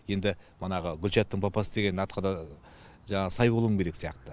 енді манағы гүлшаттың папасы деген атқа да жаңағы сай болуым керек сияқты